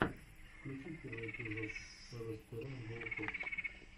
включи первый эпизод элэспирэйнбоуфокс